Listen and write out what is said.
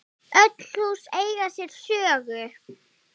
Öll hús eiga sér sögu.